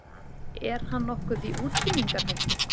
Er hann nokkuð í útrýmingarhættu?